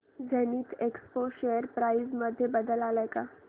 Zenith Expo share price मध्ये बदल आलाय का